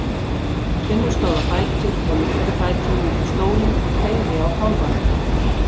Finnur stóð á fætur og lyfti fætinum upp á stólinn og teygði á kálfanum.